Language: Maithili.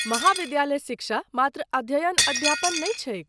महाविद्यालय शिक्षा मात्र अध्ययन अध्यापन नहि छैक।